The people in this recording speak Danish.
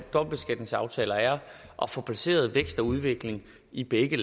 dobbeltbeskatningsaftaler er at få placeret vækst og udvikling i begge